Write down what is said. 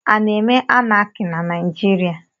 A na-eme Anaki na Naijiria?